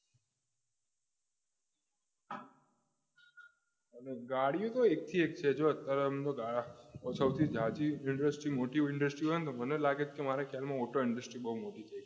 અને ગાડી તો એકે એક છે સૌથી જલ્દી industry મોટી industry હોય ને તો મને લાગે કે મારા ખ્યાલમાં હું તો industry માં